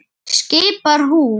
skipar hún.